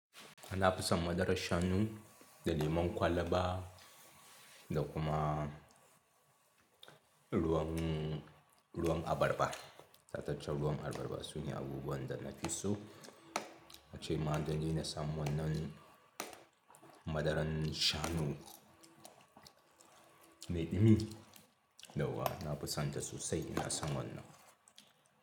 Nina fison madarar shanu da lemon kwalaba da kuma ruwan, ruwan abarba. Tataccan ruwan abarba sune abubuwan da na fi so. Acce madani na samu wannan madaran shanu mai ɗumi, yawwa na fison ta sosai ina san wannan.